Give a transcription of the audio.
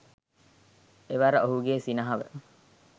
එවර ඔහුගේ සිනහව